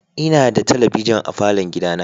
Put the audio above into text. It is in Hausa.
Ina da talabijin a falon gidana.